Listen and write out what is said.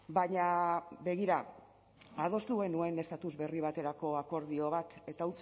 baina begira adostu genuen estatus berri baterako akordio bat eta